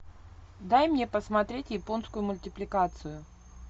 дай мне посмотреть японскую мультипликацию